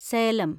Salem